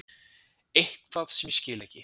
Eitthvað sem ég skil ekki.